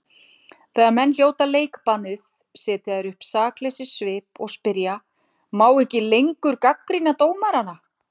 Þegar menn hljóta leikbannið setja þeir upp sakleysissvip og spyrja: Má ekki lengur gagnrýna dómarana?